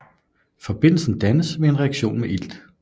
Forbindelsen dannes ved en reaktion med ilt